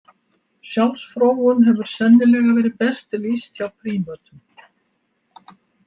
Sjálfsfróun hefur sennilega verið best lýst hjá prímötum.